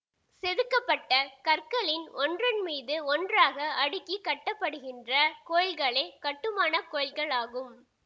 செதுக்கப்பட்ட கற்களின் ஒன்றன்மீது ஒன்றாக அடுக்கி கட்டப்படுகின்ற கோயில்களே கட்டுமான கோயில் களாகும்